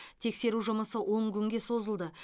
тексеру жұмысы он күнге созылды